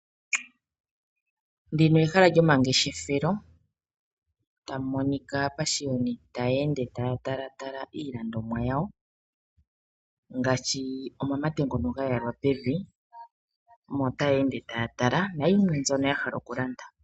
Ndino ehala lyomangeshefelo tamu monika aapashiyoni taya ende taya tala tala iilandomwa yawo. Ngaashi omamatete ngono ga yalwa pevi. Omo taya ende taya tala nayilwe mbyono ha hala oku landa.